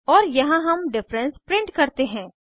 और यहाँ हम डिफरेंस प्रिंट करते हैं